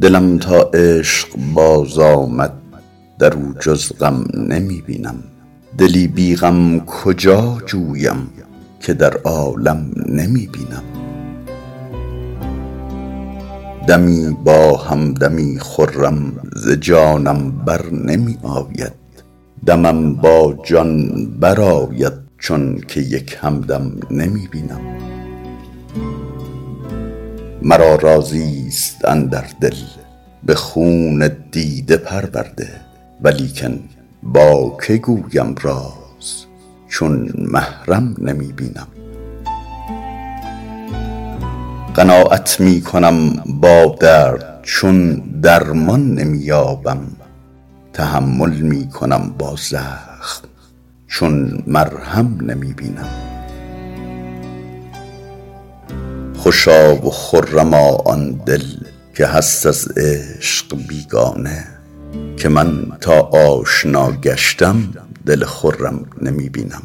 دلم تا عشق باز آمد در او جز غم نمی بینم دلی بی غم کجا جویم که در عالم نمی بینم دمی با هم دمی خرم ز جانم بر نمی آید دمم با جان برآید چون که یک هم دم نمی بینم مرا رازی ست اندر دل به خون دیده پرورده ولیکن با که گویم راز چون محرم نمی بینم قناعت می کنم با درد چون درمان نمی یابم تحمل می کنم با زخم چون مرهم نمی بینم خوشا و خرما آن دل که هست از عشق بیگانه که من تا آشنا گشتم دل خرم نمی بینم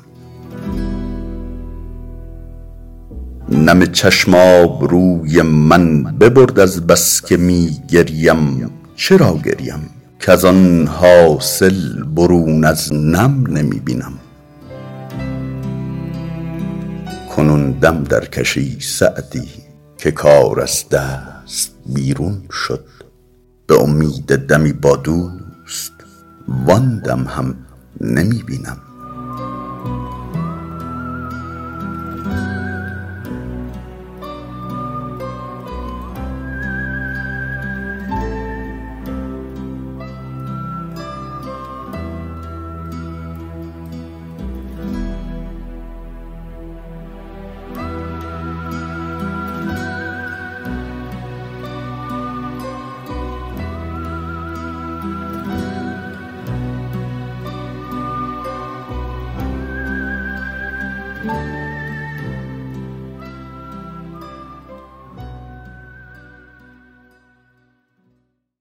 نم چشم آبروی من ببرد از بس که می گریم چرا گریم کز آن حاصل برون از نم نمی بینم کنون دم درکش ای سعدی که کار از دست بیرون شد به امید دمی با دوست وآن دم هم نمی بینم